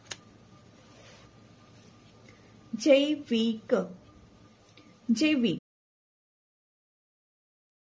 જૈ વિ ક જૈવિક